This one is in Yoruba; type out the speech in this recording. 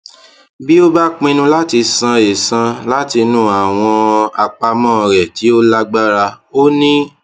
bí ó bá pinnu láti san ẹ̀san látinú àwọn àpamó rẹ tí ó lágbára ó ní